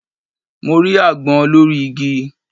Mo rí agbón lórí igi